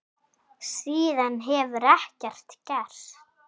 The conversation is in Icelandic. Síðan hefur ekkert gerst.